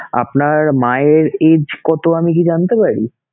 আপনার মায়ের age কত আমি কী জানতে পারি?